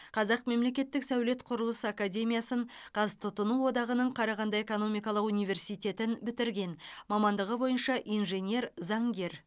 қазақ мемлекеттік сәулет құрылыс академиясын қазтұтыну одағының қарағанды экономикалық университетін бітірген мамандығы бойынша инженер заңгер